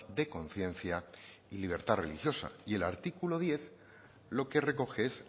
de conciencia y libertad religiosa y el artículo diez lo que recoge es